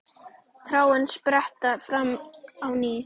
Tárin spretta fram á ný.